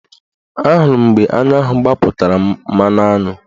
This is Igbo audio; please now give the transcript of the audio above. Ahụrụ m mgbe aṅụ ahụ gbapụtara mmanụaṅụ